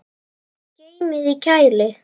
Geymið í kæli.